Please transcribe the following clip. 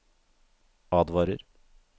advarer